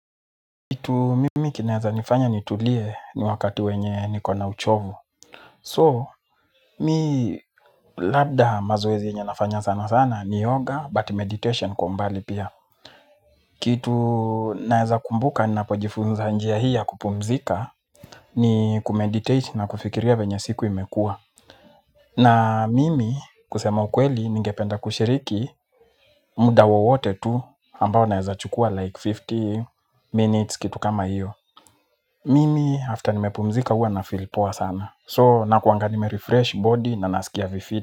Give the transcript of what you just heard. Kitu mimi kinaweza nifanya nitulie ni wakati wenye niko na uchovu. So, mimi labda mazoezi yenye nafanya sana sana ni yoga but meditation kwa umbali pia. Kitu naeza kumbuka ninapojifunza njia hii ya kupumzika ni kumeditate na kufikiria venye siku imekua. Na mimi kusema ukweli ninge penda kushiriki muda wowote tu ambao naeza chukua like fifteen minutes kitu kama iyo. Mimi after nimepumzika huwa na filipo wa sana. So na kuanga nime refresh body na nasikia vifit.